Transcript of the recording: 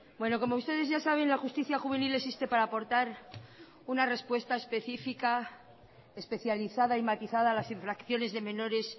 bueno como ustedes ya saben la justicia juvenil existe para aportar una respuesta especifica especializada y matizada a las infracciones de menores